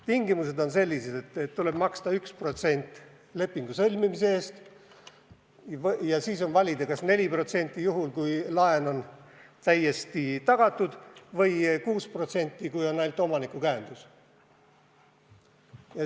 Tingimused on sellised, et tuleb maksta 1% lepingu sõlmimise eest ja siis on valida, kas 4% juhul, kui laen on täiesti tagatud, või 6%, kui on ainult omaniku käendus.